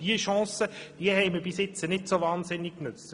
Diese Chance haben wir bis jetzt nicht so sehr genutzt.